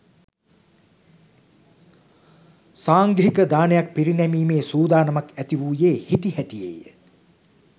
සාංඝික දානයක් පිරිනැමීමේ සූදානමක් ඇති වූයේ හිටිහැටියේය.